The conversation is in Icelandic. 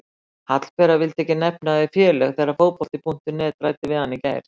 Hallbera vildi ekki nefna þau félög þegar Fótbolti.net ræddi við hana í gær.